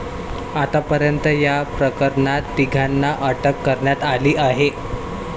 आतापर्यंत या प्रकरणात तिघांना अटक करण्यात आली आहे.